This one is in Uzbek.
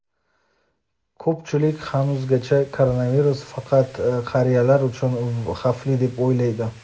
ko‘pchilik hanuzgacha koronavirus faqat qariyalar uchun xavfli deb o‘ylaydi.